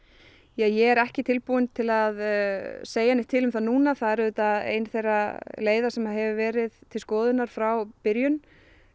ég er ekki tilbúin til að segja neitt til um það núna það er auðvitað ein þeirra leiða sem hefur verið til skoðunar frá byrjun